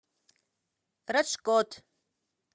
раджкот